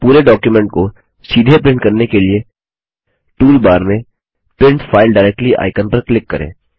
अब पूरे डॉक्युमेंट को सीधे प्रिंट करने के लिए टूलबार में प्रिंट फाइल डायरेक्टली आइकन पर क्लिक करें